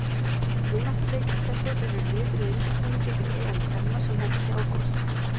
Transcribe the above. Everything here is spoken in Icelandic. Vináttuleikir þessir eru liður í undirbúningi fyrir EM kvenna sem hefst í ágúst.